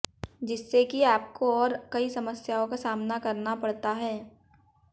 जिससे कि आपकों और कई समस्याओं का सामना करना पडता है